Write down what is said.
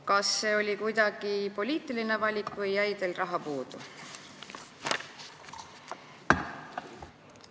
Kas see oli kuidagi poliitiline valik või jäi teil raha puudu?